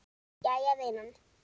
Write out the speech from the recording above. Jæja vinan.